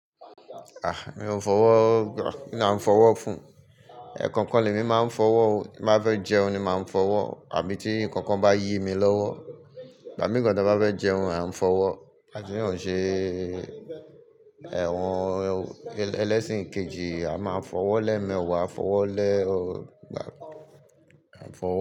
Ah! Mi ò fọwọ́, kí ni a n fọwọ́ fún? Ẹ̀ẹ̀kọ̀kan lèmi máa ń fọwọ́ o. Ti mbá fẹ́ jẹun ni màá fọwọ́ àbí tí ǹkankan bá yí mi lọ́wọ́. Ìgbà mìí gan tí a bá fẹ́ jẹun a nfọwọ́. A sì yóò ṣe ẹ̀wọ̀n ẹlẹ́sìn kejì, a máa fọwọ́ lẹ́ẹ́mẹwàá fọwọ́ lẹ́ ọgbà, a fọwọ́